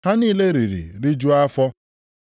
Ha niile riri rijuo afọ.